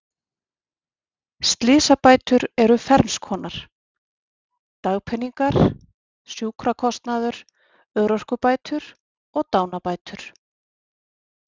Slysabætur eru fernskonar: dagpeningar, sjúkrakostnaður, örorkubætur og dánarbætur.